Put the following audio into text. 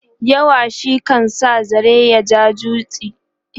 yawa shi kan sa zare ya ja duchi